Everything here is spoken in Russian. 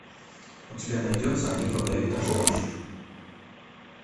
у тебя найдется они продают даже дождь